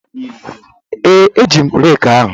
Ee, eji m reeki ahụ.